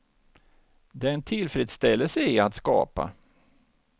Det är en tillfredsställelse i att skapa.